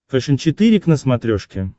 фэшен четыре к на смотрешке